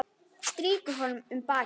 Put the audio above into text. Strýkur honum um bakið.